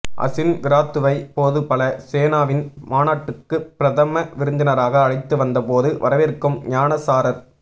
அசின் விறாத்துவை போதுபல சேனாவின் மாநாட்டுக்கு பிரதம விருந்தினராக அழைத்து வந்த போது வரவேற்கும் ஞானசாரர்